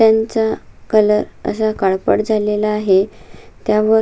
त्यांचा कलर असा काळपट झालेला आहे त्यावर--